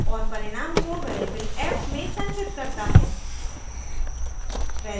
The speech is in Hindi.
और परिणाम को variable f में संचित करता है